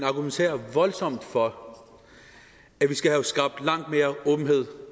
argumenterer voldsomt for at vi skal have skabt langt mere åbenhed